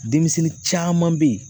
Demisɛnnin caman be ye